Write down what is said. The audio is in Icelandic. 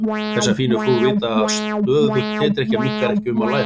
Þessar fínu frúr vita að stöðug tedrykkja minnkar ekki ummál læranna.